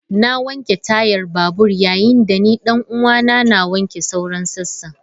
Na wanke Tayar babur yayin da ni dan uwa na wanke sauran sassan.